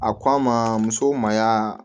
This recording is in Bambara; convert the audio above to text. A ko a ma muso ma y'a